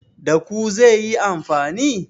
Da ku zai yi amfani?